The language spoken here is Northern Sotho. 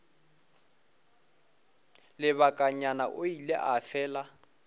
lebakanyana o ile a fela